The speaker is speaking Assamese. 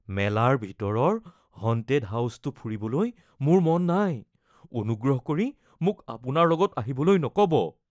মেলাৰ ভিতৰৰ 'হনটেড হাউচ'টো ফুৰিবলৈ মোৰ মন নাই। অনুগ্ৰহ কৰি মোক আপোনাৰ লগত আহিবলৈ নকব।